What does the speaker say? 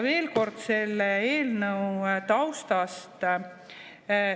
Veel kord selle eelnõu taustast.